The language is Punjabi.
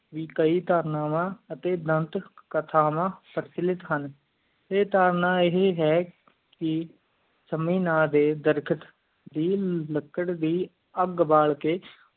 ਕਈ ਧਾਰਨਾਵਾਂ ਅਤਿ ਦੰਤ ਹਾਂ ਆ ਧਾਰਨਾ ਆ ਹੈ ਕ ਸੰਮੀ ਨਾ ਡੇ ਦਰਘਟ ਦੀ ਲਾਕਰ ਦੀ ਅੱਗ ਬਾਲ ਕ